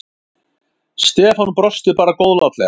Stefán brosti bara góðlátlega.